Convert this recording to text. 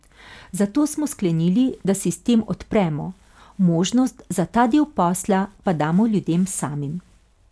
Zato smo sklenili, da sistem odpremo, možnost za ta del posla pa damo ljudem samim.